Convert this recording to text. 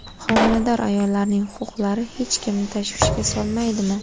Homilador ayollarning huquqlari hech kimni tashvishga solmaydimi?